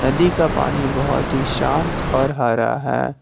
नदी का पानी बहोत ही शांत और हरा है।